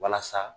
Walasa